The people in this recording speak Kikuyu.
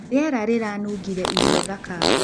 Rĩera rĩranũngĩre irio thaka.